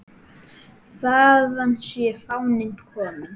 Þaðan sé fáninn kominn.